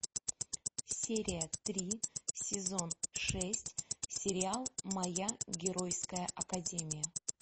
серия три сезон шесть сериал моя геройская академия